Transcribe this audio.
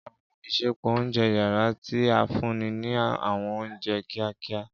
Àwọn isẹpo ounjẹ yara ti a funni ni àwọn ounjẹ kiakia.